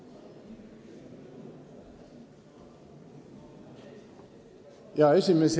Hea esimees!